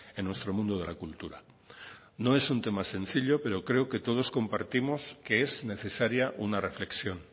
en nuestro mundo de la cultura no es un tema sencillo pero creo que todos compartimos que es necesaria una reflexión